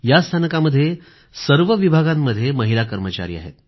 या स्थानकामध्ये सर्व विभागांमध्ये महिला कर्मचारी आहेत